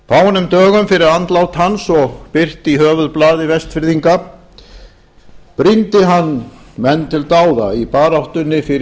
fáeinum dögum fyrir andlát hans og birt í höfuðblaði vestfirðinga brýndi hann menn til dáða í baráttunni fyrir